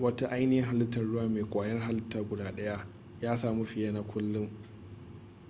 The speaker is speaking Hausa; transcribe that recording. wata ainihin halittar ruwa mai ƙwayar halitta guda ɗaya ya yi sama fiye na kullum